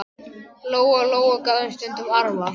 Lóa-Lóa gaf þeim stundum arfa.